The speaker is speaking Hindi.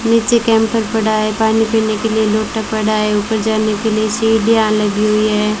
नीचे कैंपर पड़ा है पानी पीने के लिए लोटा पड़ा है ऊपर जाने के लिए सीढ़ियां लगी हुई है।